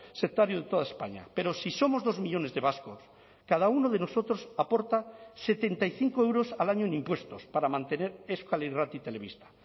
sectario de toda españa pero si somos dos millónes de vascos cada uno de nosotros aporta setenta y cinco euros al año en impuestos para mantener euskal irrati telebista